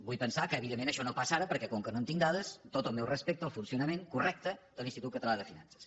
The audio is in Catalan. vull pensar que evidentment això no passa ara perquè com que no en tinc dades tot el meu respecte al funcionament correcte de l’institut català de finances